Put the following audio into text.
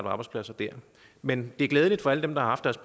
arbejdspladser der men det er glædeligt for alle dem der har haft deres